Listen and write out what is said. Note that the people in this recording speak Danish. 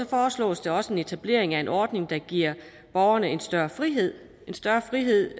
foreslås der også en etablering af en ordning der giver borgerne en større frihed større frihed